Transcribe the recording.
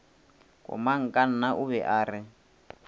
komangkanna o be a re